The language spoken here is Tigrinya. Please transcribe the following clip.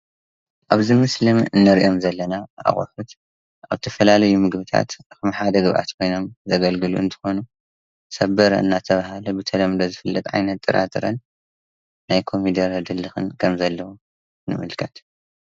ኣብ ዚ ምስሊ ንሪኣም ዘለና ኣቁሑት ኣብ ተፈላለዩ ምግቢታት ንሓደ ዝራእቲ ኮይኖም ዘገልግሉ እንትኮኑ ሰበረ እናተብሃለ ብተለምዶ ዝፈለጥ ዓይነት ጥራጥረን ናይ ኮሚደረ ድልክን ከም ዘለዎ ንምልከት ፡፡